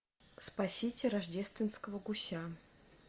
спасите рождественского гуся